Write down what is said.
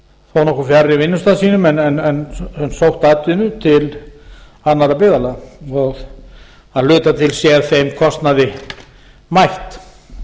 þó nokkuð fjarri vinnustað sínum en sótt atvinnu til annarra byggðarlaga og að hluta til sé þeim kostnaði mætt